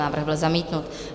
Návrh byl zamítnut.